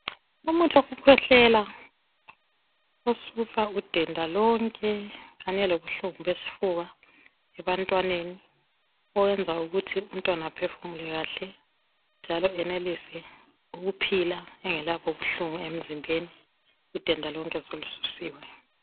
Umuthi wokukhwehlela osusa udenda lonke kanye lobuhlungu besifuba ebantwaneni oyenza ukuthi umntwana aphefumule kahle njalo enelise ukuphila engelabuhlungu emzimbeni udenda lonke solususiwe.